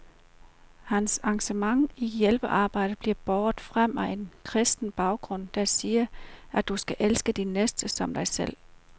Hans engagement i hjælpearbejdet bliver båret frem af en kristen baggrund, der siger, at du skal elske din næste som dig selv.